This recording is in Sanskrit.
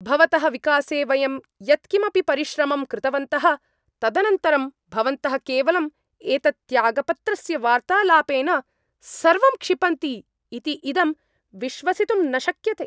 भवतः विकासे वयं यत् किमपि परिश्रमं कृतवन्तः तदनन्तरं भवन्तः केवलं एतत् त्यागपत्रस्य वार्तालापेन सर्वं क्षिपन्ति इति इदं विश्वसितुं न शक्यते।